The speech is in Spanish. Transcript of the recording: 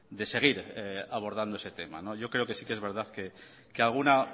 de seguir abordando ese tema yo creo que sí que es verdad que alguna